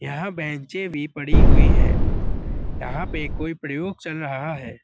यहाँ बेंचें भी पड़ी हुई हैं। यहाँ पे कोई प्रयोग चल रहा है।